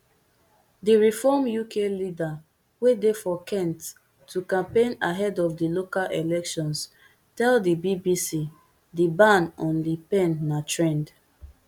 di reform uk leader wey dey for kent to campaign ahead of di local elections tell di bbc di ban on le pen na trend